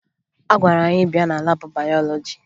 A gwara anyị bịa na laabụ bayọlọji